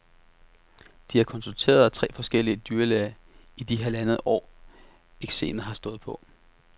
De har konsulteret tre forskellige dyrlæger i de halvandet år, eksemet har stået på.